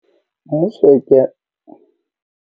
Mmuso e kea.